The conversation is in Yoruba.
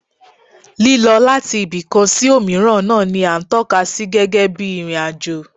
Lílọ láti ibìkan sí òmíràn náà ni à ń tọ́ka sí gẹ́gẹ́ bí ìrìn-àjò